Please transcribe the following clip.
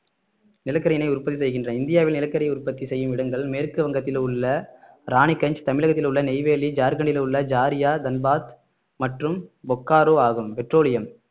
நிலக்கரினை உற்பத்தி செய்கின்ற இந்தியாவில் நிலக்கரியை உற்பத்தி செய்யும் இடங்கள் மேற்கு வங்கத்தில் உள்ள ராணிகஞ்ச் தமிழகத்தில் உள்ள நெய்வேலி ஜார்கண்டில் உள்ள ஜார்யா தன்பாத் மற்றும் பொக்காரோ ஆகும் பெட்ரோலியம்